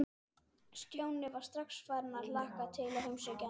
Stjáni var strax farinn að hlakka til að heimsækja hana.